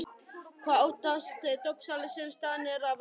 Hvað óttast dópsali sem staðinn er að verki?